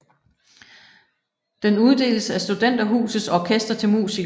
Den uddeles af Studenterhusets Orkester til musikere